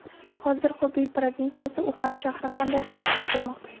Hozir Xubey provinsiyasi, Uxan shahri qanday hayot kechirmoqda?